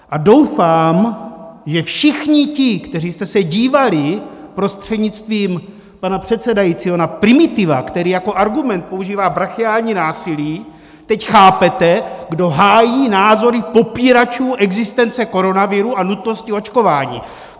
A doufám, že všichni ti, kteří jste se dívali - prostřednictvím pana předsedajícího - na primitiva, který jako argument používá brachiální násilí, teď chápete, kdo hájí názory popíračů existence koronaviru a nutnosti očkování!